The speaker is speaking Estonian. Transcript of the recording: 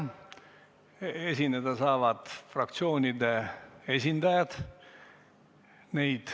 Esineda saavad fraktsioonide esindajad.